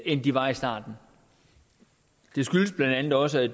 end de var i starten det skyldes blandt andet også at